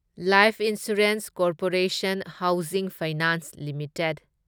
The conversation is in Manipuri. life insurance corporation housing finance limited